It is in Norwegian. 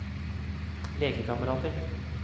lekekamerater